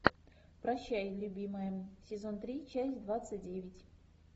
прощай любимая сезон три часть двадцать девять